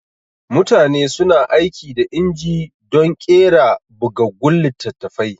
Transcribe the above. Mutane suna aiki da inji dun ƙera bugaggun littatafai